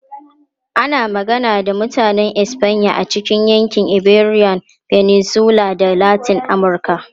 Ana magana da Mutanen Espanya a cikin yankin Iberian Peninsula da Latin Amurka.